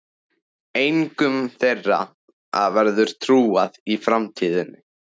Engum þeirra verður trúað í framtíðinni.